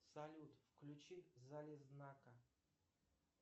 салют включи залезнака